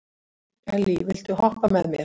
Elly, viltu hoppa með mér?